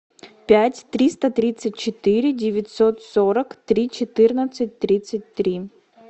пять триста тридцать четыре девятьсот сорок три четырнадцать тридцать три